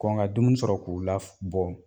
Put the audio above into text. Kɔn ka dumuni sɔrɔ k'u la f bɔ